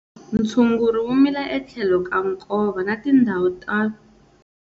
Ntshuguri wu mila etlhelo ka nkova na tindhawu ta.